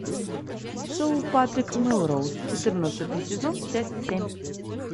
шоу патрик мелроуз четырнадцатый сезон часть семь